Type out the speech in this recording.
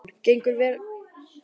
Maddý, hvaða vikudagur er í dag?